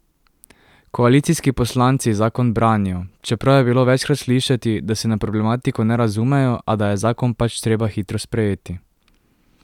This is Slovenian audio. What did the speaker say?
Koalicijski poslanci zakon branijo, čeprav je bilo večkrat slišati, da se na problematiko ne razumejo, a da je zakon pač treba hitro sprejeti.